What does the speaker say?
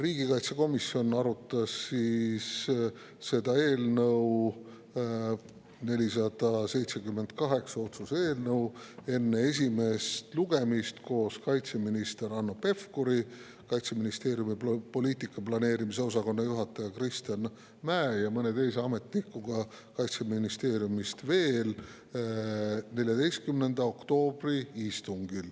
Riigikaitsekomisjon arutas otsuse eelnõu 478 enne esimest lugemist koos kaitseminister Hanno Pevkuri, Kaitseministeeriumi poliitika planeerimise osakonna juhataja Kristjan Mäe ja veel mõne Kaitseministeeriumi ametnikuga 14. oktoobri istungil.